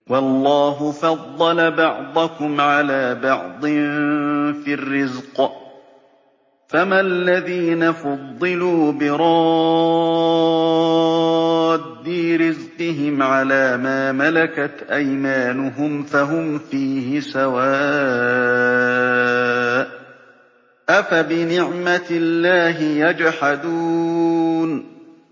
وَاللَّهُ فَضَّلَ بَعْضَكُمْ عَلَىٰ بَعْضٍ فِي الرِّزْقِ ۚ فَمَا الَّذِينَ فُضِّلُوا بِرَادِّي رِزْقِهِمْ عَلَىٰ مَا مَلَكَتْ أَيْمَانُهُمْ فَهُمْ فِيهِ سَوَاءٌ ۚ أَفَبِنِعْمَةِ اللَّهِ يَجْحَدُونَ